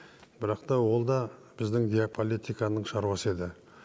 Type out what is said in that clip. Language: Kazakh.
бірақ та ол да біздің геополитиканың шаруасы еді